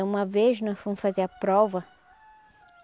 Uma vez nós fomos fazer a prova.